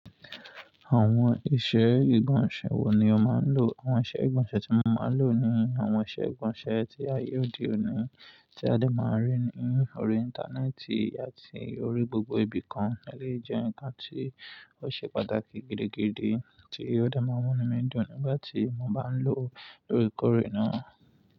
Àwọn iṣẹ́ ìgbọ̀nsẹ̀ wo ni o máa ń lò? Àwọn iṣẹ́ ìgbọ̀nsẹ̀ tí mo máa ń lò ni àwọn iṣẹ́ ìgbọ̀nsẹ̀ tí ayé òde òní tí a lè máa rí ní orí Íńtánẹ́ẹ̀tì àti orí gbogbo ibi kan, ó lè jẹ́ ǹkan tí ó ṣe pàtàkì gidigidi tí ò dẹ máa n mú inu mi dun nigbáti mo bá ń lò lóòrèkóòrè náà.